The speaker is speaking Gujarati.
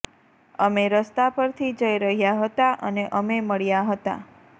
અમે રસ્તા પરથી જઈ રહ્યાં હતાં અને અમે મળ્યાં હતાં